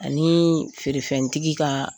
Ani feerefɛntigi ka.